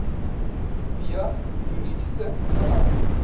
via juridiese kanale